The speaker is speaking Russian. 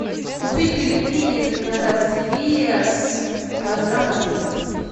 купить пельмени на развес килограмма три